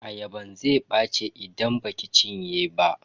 Ayaban zai ɓaci idan baki cinye ba.